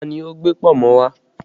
Ta ni ó gbé pọ̀nmọ́ wá?